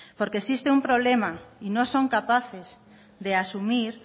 porque existe un problema y no son capaces de asumir